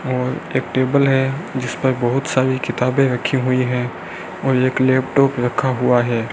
और एक टेबल है जिस पर बहुत सारी किताबें रखी हुई हैं और एक लैपटॉप रखा हुआ है।